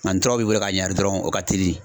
Nga ni tura b'i bolo ka ɲuwari dɔrɔn o ka teli .